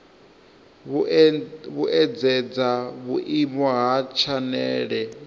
vhuedzedza vhuimo ha tshanele ya